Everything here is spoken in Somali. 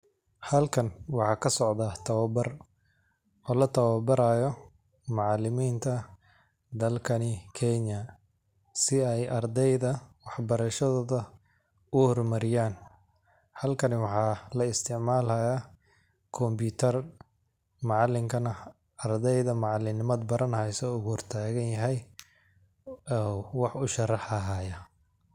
Halkan waxaa ka socdaa tawabar oo la tawabaraayo macalimiinta dalkani kenya si ay ardeyda wax barashadooda u hormariyaan ,halkani waxaa la isticmalayaa combiitar macalinkana ardeyda macalin nimad baran haysouu hor tagan yahay uu wax u sharax hayaa .